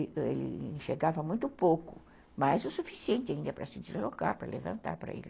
Ele chegava muito pouco, mas o suficiente ainda para se deslocar, para levantar para ele.